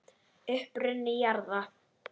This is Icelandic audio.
Uppruni jarðar